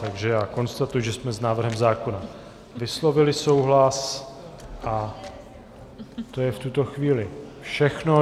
Takže já konstatuji, že jsme s návrhem zákona vyslovili souhlas, a to je v tuto chvíli všechno.